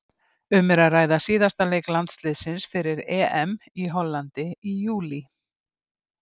Um er að ræða síðasta leik landsliðsins fyrir EM í Hollandi í júlí.